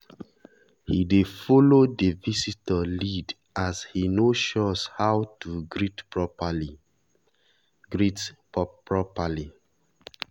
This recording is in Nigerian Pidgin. he dey follow the visitor lead as he no sure how to greet properly. greet properly.